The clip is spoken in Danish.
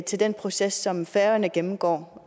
til den proces som færøerne gennemgår